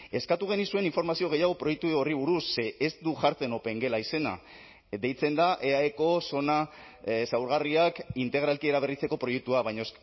eskatu genizuen informazio gehiago proiektu horri buruz ze ez du jartzen opengela izena deitzen da eaeko zona zaurgarriak integralki eraberritzeko proiektua baina